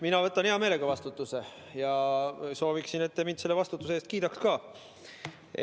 Mina võtan hea meelega vastutuse ja sooviksin, et te mind selle vastutuse eest kiidaks ka.